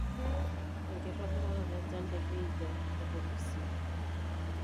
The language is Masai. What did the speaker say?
enkitobiraroto enchan te Busia o the Vihiga